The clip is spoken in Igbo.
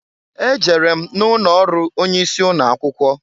E jere m na ụnọ ọrụ onye isi ụnọ akwụkwọ.